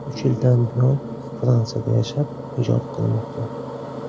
Uch yildan buyon Fransiyada yashab, ijod qilmoqda.